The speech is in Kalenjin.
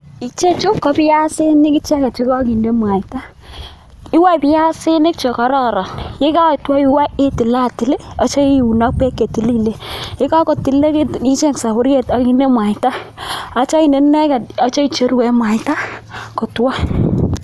Ichechu ko biasinik che kokinde mwaita, iwoe biasinik che kororon yekotwo iwoe itilatil yeityo iun ak beek che tililen ,ye kakotilikekitu icheng soburiet ak inde mwaita, yeityo inde ineget yeityo icheru en mwaita kotwo.